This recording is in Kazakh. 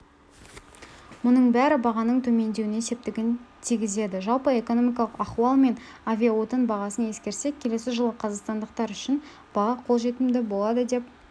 мұның бәрі бағаның төмендеуіне септігін тигізеді жалпы экономикалық ахуал мен авиаотын бағасын ескерсек келесі жылы қазақстандықтар үшін баға қолжетімді болады деп